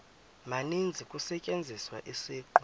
maninzi kusetyenziswa isiqu